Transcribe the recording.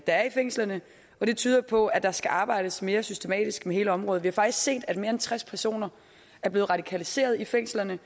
der er i fængslerne og det tyder jo på at der skal arbejdes mere systematisk med hele området vi har faktisk set at mere end tres personer er blevet radikaliseret i fængslerne